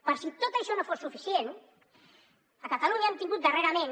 per si tot això no fos suficient a catalunya hem tingut darrerament